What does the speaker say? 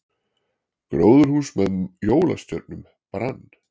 Gróðurhús með jólastjörnum brann